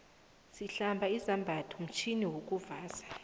sihlanza izambatho mtjhini wokulanza